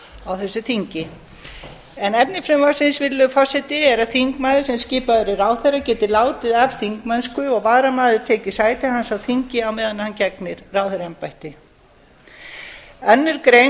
síðar á þessu þingi efni frumvarpsins er að þingmaður sem skipaður er ráðherra geti látið af þingmennsku og varamaður tekið sæti hans á þingi meðan hann gegnir ráðherraembætti í annarri grein